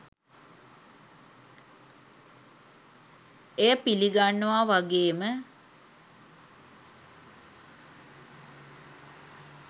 එය පිළිගන්නවා වගේම